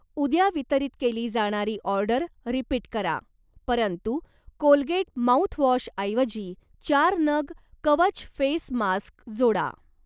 उद्या वितरित केली जाणारी ऑर्डर रिपीट करा परंतु कोलगेट माउथवॉशऐवजी चार नग कवच फेस मास्क जोडा.